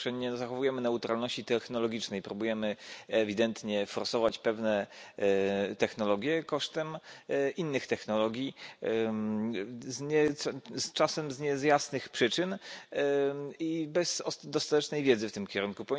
Po pierwsze, nie zachowujemy neutralności technologicznej, próbujemy ewidentnie forsować pewne technologie kosztem innych technologii, czasem z niejasnych przyczyn i bez dostatecznej wiedzy w tym kierunku.